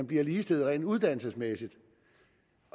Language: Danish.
bliver ligestillet rent uddannelsesmæssigt